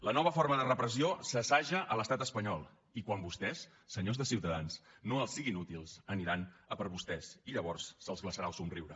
la nova forma de repressió s’assaja a l’estat espanyol i quan vostès senyors de ciutadans no els siguin útils aniran a per vostès i llavors se’ls glaçarà el somriure